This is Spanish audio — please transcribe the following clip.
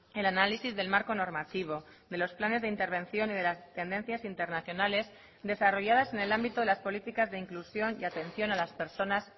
el análisis del marco normativo de los planes de intervención y de las tendencias internacionales desarrolladas en el ámbito de las políticas de inclusión y atención a las personas